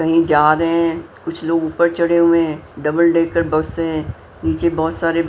कहीं जा रहे हैं कुछ लोग ऊपर चढ़े हुए हैं डबल डेकर बस हैं नीचे बहुत सारे--